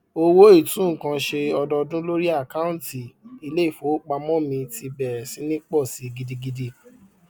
owó itu nkan ṣe ọdọọdún lórí akaunti iléìfowópamó mi ti bèrè sí ní pọ sí gidigidi